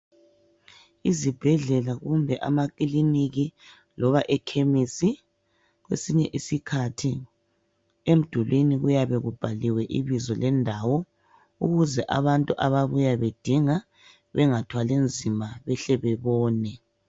Izibhedlela kumbe amakiliniki loba amakhemisi kwesinye isikhathi emdulwini kuyabe kubhaliwe ibizo lendawo ukuze abantu ababuya bedinga bengathwali nzima behle bebone.